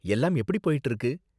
எல்லாம் எப்படி போய்ட்டு இருக்கு?